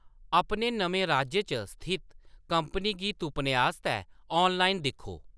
अपने नमें राज्य च स्थित कंपनी गी तुप्पने आस्तै ऑनलाइन दिक्खो।